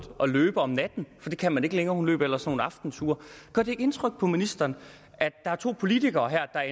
at løbe om natten for det kan man ikke længere hun løb ellers nogle aftenture gør det ikke indtryk på ministeren at der er to politikere her der